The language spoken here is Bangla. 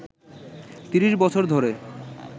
৩০ বছর ধরে